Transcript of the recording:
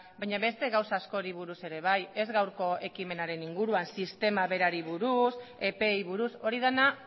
baina beste gauza askori buruz ere bai ez gaurko ekimenaren inguruan sistema berari buruz epeei buruz hori dena